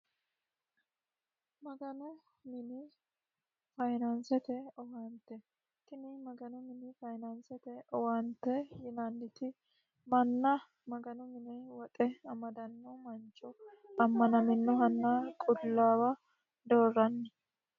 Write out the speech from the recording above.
Maganu mine faayinanisete owannitte tini maganu mine faayinanisete owannitte yinanitti manna maganu mini woxxe amadanno manicho amanaminohana qulawa dooranni